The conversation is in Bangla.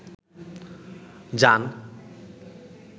জান